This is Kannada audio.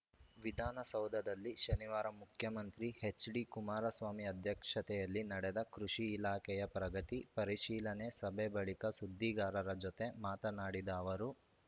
ವಿಧಾನಸೌಧದಲ್ಲಿ ಶನಿವಾರ ಮುಖ್ಯಮಂತ್ರಿ ಎಚ್‌ಡಿ ಕುಮಾರಸ್ವಾಮಿ ಅಧ್ಯಕ್ಷತೆಯಲ್ಲಿ ನಡೆದ ಕೃಷಿ ಇಲಾಖೆಯ ಪ್ರಗತಿ ಪರಿಶೀಲನೆ ಸಭೆ ಬಳಿಕ ಸುದ್ದಿಗಾರರ ಜತೆ ಮಾತನಾಡಿದ ಅವರು